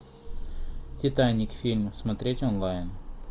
титаник фильм смотреть онлайн